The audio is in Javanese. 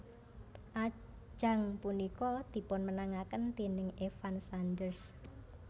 Ajang punika dipunmenangaken déning Evan Sanders